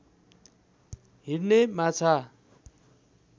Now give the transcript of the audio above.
हिँड्ने माछा